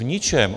V ničem.